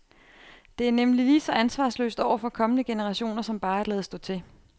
Det er nemlig lige så ansvarsløst over for kommende generationer som bare at lade stå til.